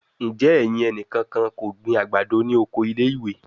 Njẹ ẹyin eniyan ko gbin agbado ni oko ile-iwe?